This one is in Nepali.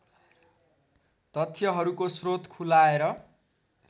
तथ्यहरूको स्रोत खुलाएर